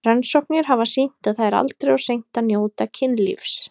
Rannsóknir hafa sýnt að það er aldrei of seint að njóta kynlífs.